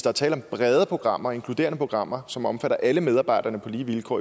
er tale om brede programmer altså inkluderende programmer som omfatter alle medarbejderne på lige vilkår